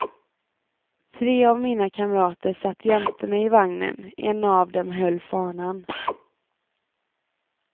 Tre av mina kamrater satt jämte mig i vagnen, en av dem höll fanan.